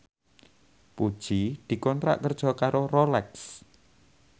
Puji dikontrak kerja karo Rolex